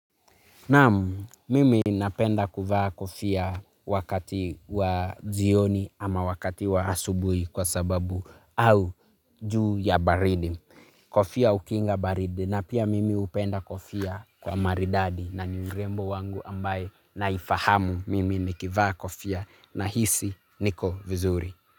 Naam, mimi napenda kuvaa kofia wakati wa jioni ama wakati wa asubuhi kwa sababu au juu ya baridi. Kofia hukinga baridi na pia mimi hupenda kofia kwa maridadi na ni urembo wangu ambaye naifahamu mimi nikivaa kofia nahisi niko vizuri.